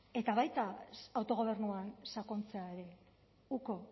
eta baita autogobernuan sakontzea ere uko